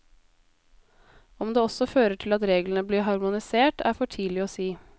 Om det også fører til at reglene blir harmonisert, er for tidlig å si.